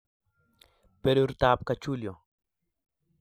Berurto ab kachulio